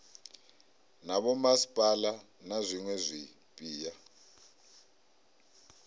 na vhomasipala na zwiwe zwipia